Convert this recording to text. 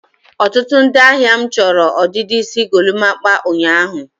ọtụtụ ndị ahịa m chọrọ ọdịdị isi golimapa ụnyaahụ.